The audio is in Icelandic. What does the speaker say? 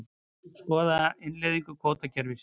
Skoða innleiðingu kvótakerfis